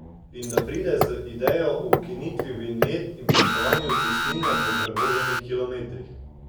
In da pride z idejo o ukinitvi vinjet in plačevanju cestnine po prevoženih kilometrih.